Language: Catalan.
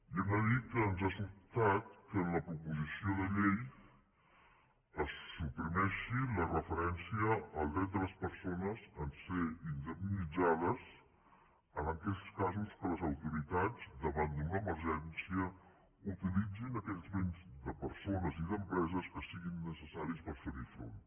i hem de dir que ens ha sobtat que en la proposició de llei es suprimeixi la referència al dret de les persones a ser indemnitzades en aquells casos en què les autori·tats davant d’una emergència utilitzin aquells béns de persones i d’empreses que siguin necessaris per fer·hi front